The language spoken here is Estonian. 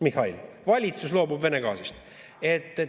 Mihhail, valitsus loobub Vene gaasist!